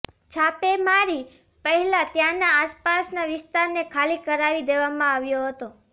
છાપેમારી પહેલા ત્યાંના આસપાસના વિસ્તાને ખાલી કરાવી દેવામાં આવ્યો હતો